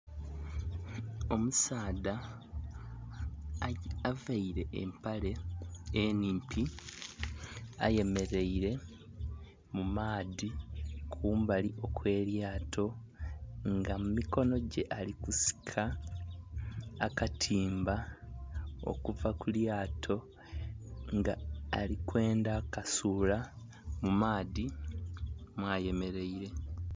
Omusaadha availe empale enhimpi ayemeleile mu maadhi kumbali okw'elyato nga mu mikono gye alikusika akatimba okuva ku lyato nga ali kwendha kasuula mu maadhi mwayemeleile.